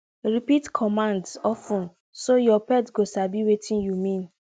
repeat commands of ten so your pet go sabi wetin you mean